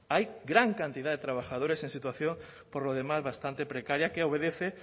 hay gran cantidad de trabajadores en situación por lo demás bastante precaria que obedece